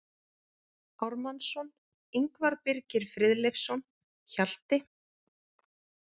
Ármannsson, Ingvar Birgir Friðleifsson, Hjalti